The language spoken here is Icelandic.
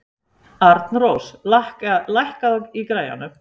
Arnrós, lækkaðu í græjunum.